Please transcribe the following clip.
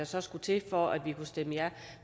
så skulle til for at vi kunne stemme ja